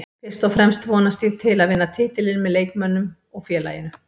Fyrst og fremst vonast ég til að vinna titilinn með leikmönnunum og félaginu